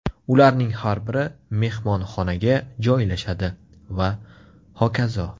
Ularning har biri mehmonxonaga joylashadi va hokazo.